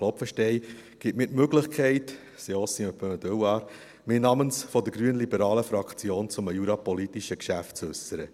Klopfenstein gibt mir die Möglichkeit – c’est aussi un peu un devoir –, mich namens der grünliberalen Fraktion zu einem jurapolitischen Geschäft zu äussern.